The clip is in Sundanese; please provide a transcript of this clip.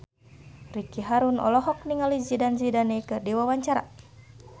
Ricky Harun olohok ningali Zidane Zidane keur diwawancara